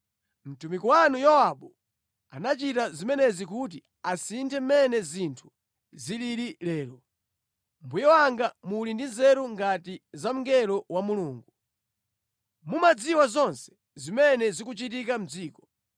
Mtumiki wanu Yowabu anachita zimenezi kuti asinthe mmene zinthu zilili lero. Mbuye wanga muli ndi nzeru ngati za mngelo wa Mulungu. Mumadziwa zonse zimene zikuchitika mʼdziko.”